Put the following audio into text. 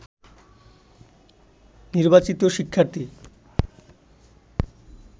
নির্বাচিত শিক্ষার্থী